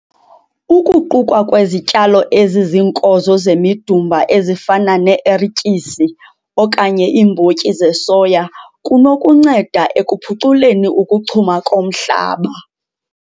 Ukuqukwa kwezityalo eziziinkozo zemidumba ezifana nee-ertyisi okanye iimbotyi zesoya kunokunceda ekuphuculeni ukuchuma komhlaba.